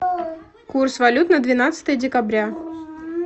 курс валют на двенадцатое декабря